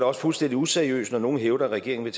også fuldstændig useriøst når nogen hævder at regeringen